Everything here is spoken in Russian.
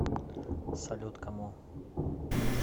салют кому